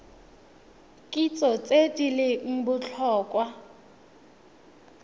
kitso tse di leng botlhokwa